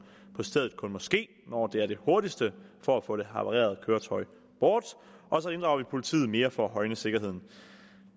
på stedet kun må ske når det er det hurtigste for at få det havarerede køretøj bort og så inddrager vi politiet mere for at højne sikkerheden